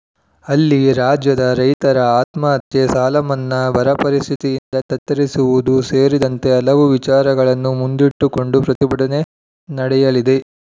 ಅಲ್ಲಿ ರಾಜ್ಯದ ರೈತರ ಆತ್ಮಹತ್ಯೆ ಸಾಲಮನ್ನಾ ಬರ ಪರಿಸ್ಥಿತಿಯಿಂದ ತತ್ತರಿಸಿರುವುದು ಸೇರಿದಂತೆ ಹಲವು ವಿಚಾರಗಳನ್ನು ಮುಂದಿಟ್ಟುಕೊಂಡು ಪ್ರತಿಭಟನೆ ನಡೆಯಲಿದೆ